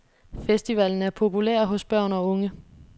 Festivalen er populær hos børn og unge.